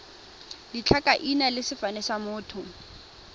ditlhakaina le sefane sa motho